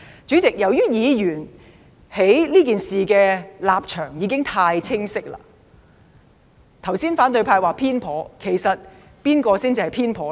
主席，由於議員在這事上的立場已經太清晰，反對派剛才說偏頗，其實誰才偏頗呢？